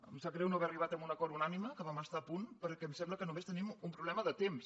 ens sap greu no haver arribat a un acord unànime que hi vam estar a punt perquè em sembla que només tenim un problema de temps